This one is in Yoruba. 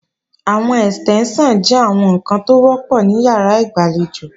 Àwọn Ẹ̀stẹ́ńṣàn jẹ́ àwọn ǹkan tó wọ́pọ̀ ní ìyàrá ìgbàlejò